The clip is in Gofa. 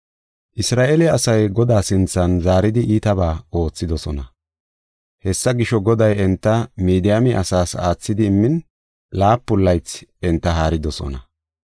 Isra7eele asay Godaa sinthan zaaridi iitabaa oothidosona. Hessa gisho, Goday enta Midiyaame asaas aathidi immin laapun laythi enta haaridosona.